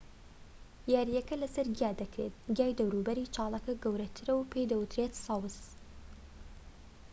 یاریەکە لەسەر گیا دەکرێت گیای دەوروبەری چاڵەکە کورتترە و پێی دەوترێت سەوز